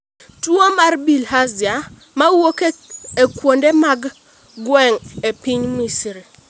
Tuwo mar bilharzia ma wuok e kuonde mag gweng' e piny Misri